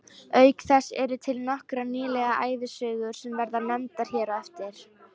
Auk þess eru til nokkrar nýlega ævisögur sem verða nefndar hér á eftir.